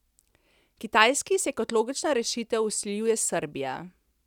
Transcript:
Kitajski se kot logična rešitev vsiljuje Srbija.